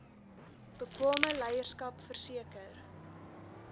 bekwame leierskap verseker